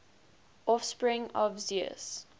offspring of zeus